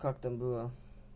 как там было